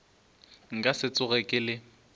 nka se tsoge ke le